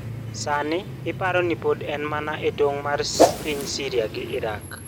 Sani iparo ni pod en mana e tong' mar piny Syria gi Iraq.